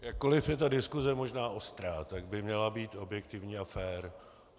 Jakkoli je ta diskuse možná ostrá, tak by měla být objektivní a fér.